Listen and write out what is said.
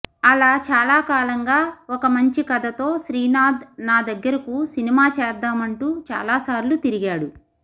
అలా చాలా కాలంగా ఒక మంచి కథతో శ్రీనాథ్ నా దగ్గరకు సినిమా చేద్దామంటూ చాలా సార్లు తిరిగాడు